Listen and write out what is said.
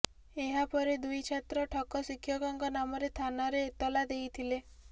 ଏହାପରେ ଦୁଇ ଛାତ୍ର ଠକ ଶିକ୍ଷକଙ୍କ ନାମରେ ଥାନାରେ ଏତାଲ ଦେଇଥିଲେ